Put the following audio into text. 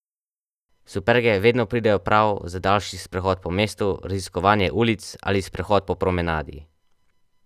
Superge vedno pridejo prav za daljši sprehod po mestu, raziskovanje ulic ali sprehod po promenadi.